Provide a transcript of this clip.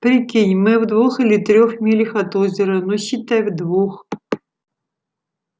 прикинь мы в двух или трёх милях от озера ну считай в двух